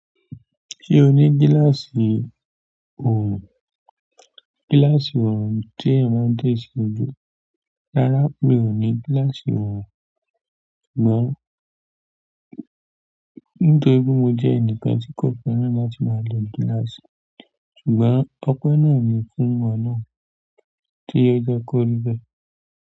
Ṣé o ní gíláàsì ọrùn? Gíláàsì ọrùn tí eeyan máa ń de sí ojú. Rárá mi ò ní gíláàsì oorùn. Ṣùgbọ́n nítorí pé mo jẹ́ ẹnìkan tí kò fẹ́ràn la ti máa lo gíláàsì. Ṣùgbọ́n ọpẹ́ ná ni fún oluwa náà tí o jẹ́ kó ri bẹ́ẹ̀.